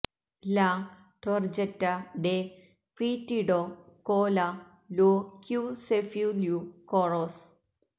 ലാ ടൊർജറ്റ ഡെ ക്രീഡിറ്റോ കോ ല ലോ ക്യൂ സെഫ്യൂ ല്യൂ കോറാസ്